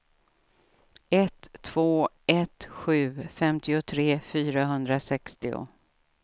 ett två ett sju femtiotre fyrahundrasextio